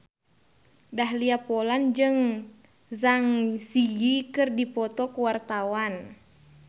Dahlia Poland jeung Zang Zi Yi keur dipoto ku wartawan